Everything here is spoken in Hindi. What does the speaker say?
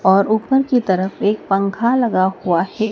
और ऊपर की तरफ एक पंखा लगा हुआ है।